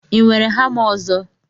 ị nwere hama ọzọ